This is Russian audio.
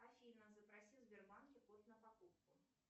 афина запроси в сбербанке код на покупку